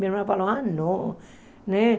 Minha mãe falou, ah, não. Né